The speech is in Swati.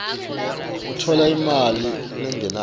utfola imali lengenako